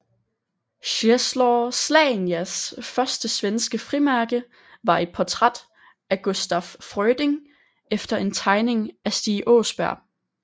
Czesław Słanias første svenske frimærke var et portræt af Gustaf Fröding efter en tegning af Stig Åsberg